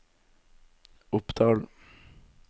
Oppdal